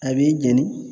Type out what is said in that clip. A b'i jɛni